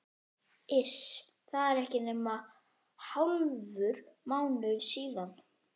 Iss, það er ekki nema hálfur mánuður síðan.